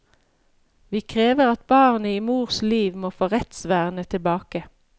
Vi krever at barnet i mors liv må få rettsvernet tilbake.